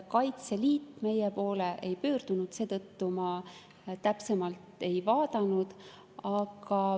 Kaitseliit meie poole ei pöördunud, seetõttu ma täpsemalt ei ole vaadanud.